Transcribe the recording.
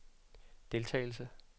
deltagelse